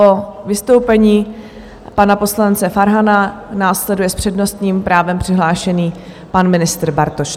Po vystoupení pana poslance Farhana následuje s přednostním právem přihlášený pan ministr Bartoš.